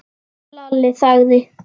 Lalli þagði.